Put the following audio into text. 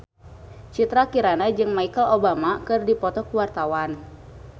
Citra Kirana jeung Michelle Obama keur dipoto ku wartawan